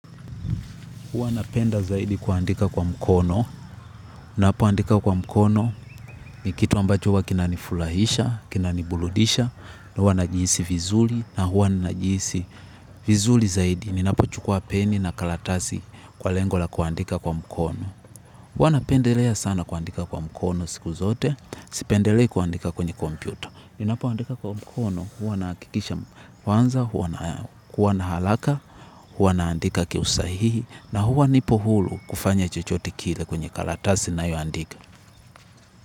Huwanapenda zaidi kuandika kwa mkono. Huwanapenda zaidi kuandika kwa mkono ni kitu ambacho huwa kinani furahisha, kinani burudisha. Huanajihisi vizuri na huwanajihisi vizuri zaidi. Ninapo chukua peni na karatasi kwa lengo la kuandika kwa mkono. Huanapendelea sana kuandika kwa mkono siku zote. Sipendelea kuandika kwenye kompyuta. Ninapo andika kwa mkono hua nakikisha kwanza, kuanaharaka, huanandika kiusahihi. Na huwa nipo huru kufanya chochote kile kwenye karatasi ninayo andika.